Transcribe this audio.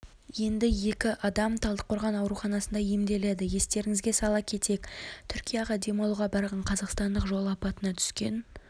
енді екі адам талдықорған ауруханасында емделеді естеріңізге сала кетейік түркияға демалуға барған қазақстандық жол апатына түскен